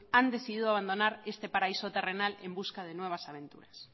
han decidido abandonar este paraíso terrenal en busca de nuevas aventuras